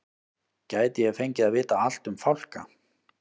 Gæti ég fengið að vita allt um fálka?